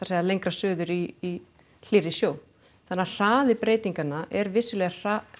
segja lengra suður í hlýrri sjó þannig að hraði breytinganna er vissulega